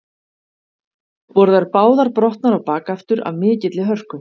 Voru þær báðar brotnar á bak aftur af mikilli hörku.